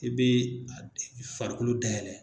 I bɛ farikolo dayɛlɛ.